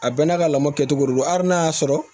A bɛɛ n'a ka lamɔ kɛcogo de don hali n'a y'a sɔrɔ